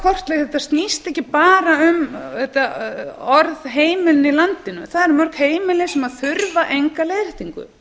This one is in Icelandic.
kortleggja þetta þetta snýst ekki bara um þessi orð heimilin í landinu það eru mörg heimili sem þurfa enga leiðréttingu